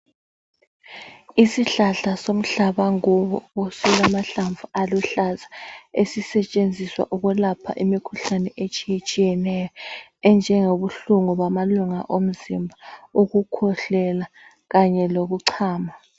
Isihlahla somhlabangubo silamahlamvu aluhlaza. Esisetshenziswa ukwelapha imikhuhlane etshiyetshiyeneyo, enjengengobuhlungu bamalunga omzimba, ukukhwehlela kanye lokuchama.